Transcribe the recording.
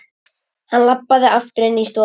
Hann labbaði aftur inní stofu.